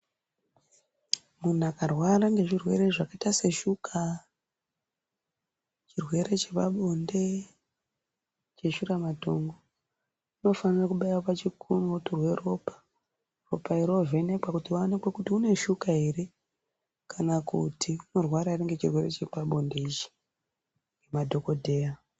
Munhu akarwara ngezvirwere zvakaita seshuka, chirwere chepabonde, cheshuramatongo, unofane kubaiwe pachikunwe otorwe ropa, ropa iri roovhenekwa kuti zvionekwe kuti une shuka ere kana kuti kurwara ngechirwere chepabonde ichi na dhokodheya.